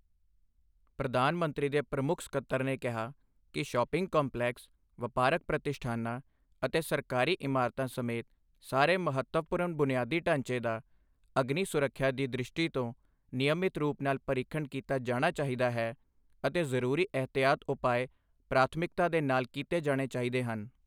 ਪ੍ਰਧਾਨ ਮੰਤਰੀ ਦੇ ਪ੍ਰਮੁੱਖ ਸਕੱਤਰ ਨੇ ਕਿਹਾ ਕਿ ਸ਼ੌਪਿੰਗ ਕੰਪਲੈਕਸ, ਵਪਾਰਕ ਪ੍ਰਤਿਸ਼ਠਾਨਾਂ ਅਤੇ ਸਰਕਾਰੀ ਇਮਾਰਤਾਂ ਸਮੇਤ ਸਾਰੇ ਮਹੱਤਵਪੂਰਨ ਬੁਨਿਆਦੀ ਢਾਂਚੇ ਦਾ ਅਗਨੀ ਸੁਰੱਖਿਆ ਦੀ ਦ੍ਰਿਸ਼ਟੀ ਤੋਂ ਨਿਯਮਿਤ ਰੂਪ ਨਾਲ ਪਰੀਖਣ ਕੀਤਾ ਜਾਣਾ ਚਾਹੀਦਾ ਹੈ ਅਤੇ ਜ਼ਰੂਰੀ ਏਹਤਿਆਤੀ ਉਪਾਅ ਪ੍ਰਾਥਮਿਕਤਾ ਦੇ ਨਾਲ ਕੀਤੇ ਜਾਣੇ ਚਾਹੀਦੇ ਹਨ।